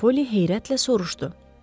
Xanım Polly heyrətlə soruşdu.